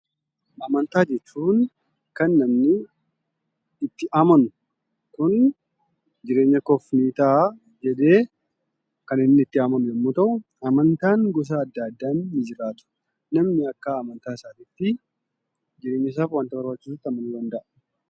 Amantaa jechuun kan namni itti amanu jireenya koof ni ta'a jedhee kan inni itti amanu yommuu ta'u, amantaan gosa adda addaan ni jiraatu namni akka amantaasaatitti wanta barbaachisutti amanuu danda'a.